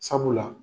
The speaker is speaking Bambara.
Sabula